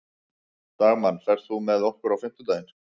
Dagmann, ferð þú með okkur á fimmtudaginn?